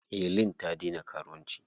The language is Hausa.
Helen ta daina karuwanci.